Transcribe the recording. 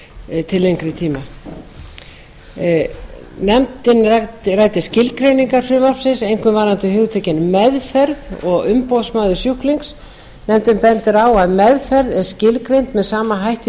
til lengri tíma nefndin ræddi skilgreiningar frumvarpsins einkum varðandi hugtökin meðferð og umboðsmaður sjúklings nefndin bendir á að meðferð er skilgreind með sama hætti í